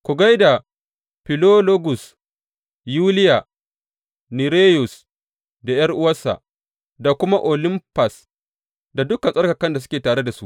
Ku gai da Filologus, Yuliya, Nereyus da ’yar’uwarsa, da kuma Olimfas da dukan tsarkakan da suke tare da su.